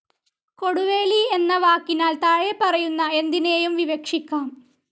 കൊടുവേലി എന്ന വാക്കിനാൽ താഴെപ്പറയുന്ന എന്തിനേയും വിവക്ഷിക്കാം.